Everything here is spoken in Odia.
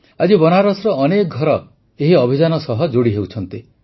ଆଜି ବନାରସର ଅନେକ ଘର ଏହି ଅଭିଯାନ ସହ ଯୋଡ଼ି ହେଉଛନ୍ତି